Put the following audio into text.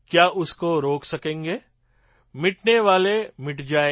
ક્યા ઉસકો રોક સકેંગે મિટનેવાલે મિટ જાયેં